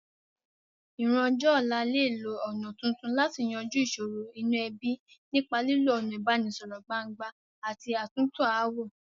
Ìran ọjọ́ ọ̀la lè lo ọ̀nà tuntun láti yanjú ìsòro inú ebí, nípa lílo ọ̀nà ìbánisọ̀rọ̀ gbangba àti àtúntò ááwọ̀.